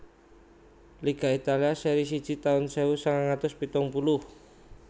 Liga Italia Serie siji taun sewu sangang atus pitung puluh